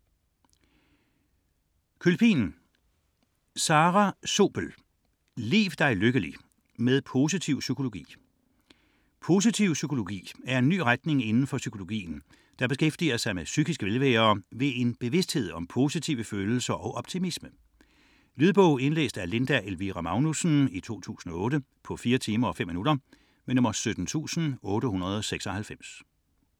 61.36 Kølpin, Sarah Zobel: Lev dig lykkelig - med positiv psykologi Positiv psykologi er en ny retning indenfor psykologien, som beskæftiger sig med psykisk velvære ved en bevidsthed om positive følelser og optimisme. Lydbog 17896 Indlæst af Linda Elvira Magnussen, 2008. Spilletid: 4 timer, 5 minutter.